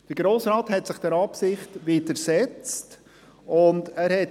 Der Grosse Rat widersetzte sich dieser Absicht.